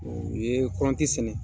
U ye kɔnti sɛnɛ